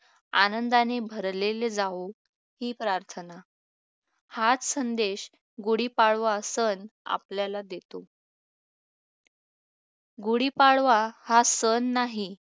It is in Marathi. आनंदाने भरलेले जावो ही प्रार्थना हाच संदेश गुढीपाडवा सण आपल्याला देतो गुढीपाडवा हा सण नाही